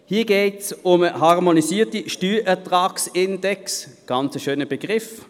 Hier geht es um einen harmonisierten Steuerertragsindex, ein sehr schöner Begriff.